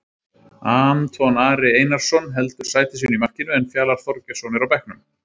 Anton Ari Einarsson heldur sæti sínu í markinu en Fjalar Þorgeirsson er á bekknum.